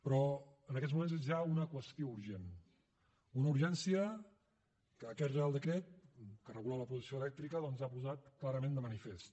però en aquests moments és ja una qüestió urgent una urgència que aquest reial decret que regula la producció elèctrica ha posat clarament de manifest